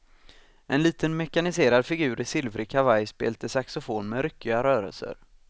En liten mekaniserad figur i silvrig kavaj spelte saxofon med ryckiga rörelser.